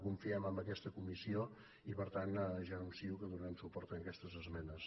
confiem en aquesta comissió i per tant ja anuncio que donarem suport a aquestes esmenes